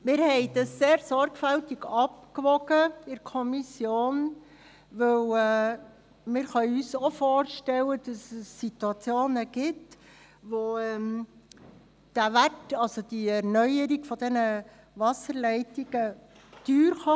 Wir wogen dies in der Kommission sehr sorgfältig ab, weil wir uns auch vorstellen können, dass es Situationen gibt, in welchen die Erneuerung dieser Wasserleitungen teuer werden kann.